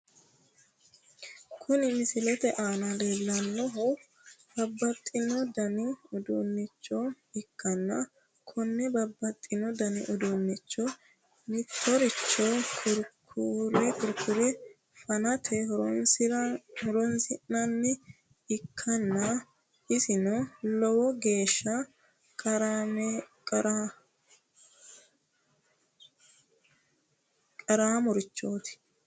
Kuni misilete aana leellannohu babbaxxino dani uduunnicho ikkanna, konne babbaxxino dani uduunnicho mittoricho kurkure fanate horonsi'nanniha ikkanna isino lowo geeshsha qaramorichooti.